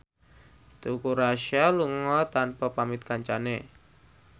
Teuku Rassya lunga tanpa pamit kancane